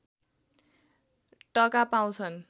टका पाउँछन्